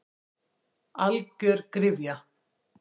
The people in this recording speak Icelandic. Algjör gryfja.